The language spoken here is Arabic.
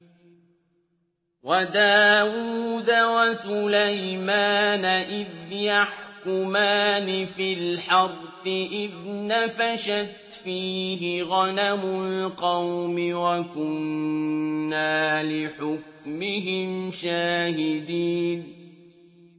وَدَاوُودَ وَسُلَيْمَانَ إِذْ يَحْكُمَانِ فِي الْحَرْثِ إِذْ نَفَشَتْ فِيهِ غَنَمُ الْقَوْمِ وَكُنَّا لِحُكْمِهِمْ شَاهِدِينَ